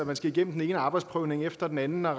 man skal igennem den ene arbejdsprøvning efter den anden og